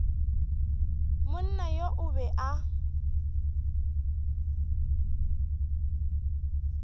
monna yo o be a